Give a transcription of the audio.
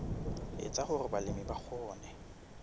etsa hore balemi ba kgone